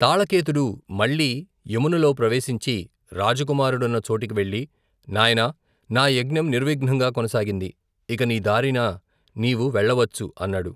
తాళకేతుడు మళ్లీ యమునలో ప్రవేశించి, రాజకుమారుడున్న చోటికి వెళ్లి, నాయనా నా యజ్ఞం నిర్విఘ్నంగా కొనసాగింది, ఇక నీ దారిన నీవు వెళ్లవచ్చు అన్నాడు.